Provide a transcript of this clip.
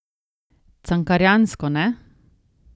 Cankarjansko, ne?